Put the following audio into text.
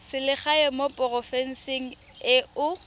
selegae mo porofenseng e o